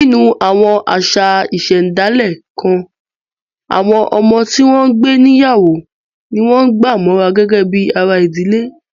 Nínú àwọn àṣà ìṣẹ̀dálẹ̀ kan, àwọn ọmọ tí wọ́n ń gbé níyàwó ni wọ́n gbà mọ́ra gẹ́gẹ́ bí ara ìdílé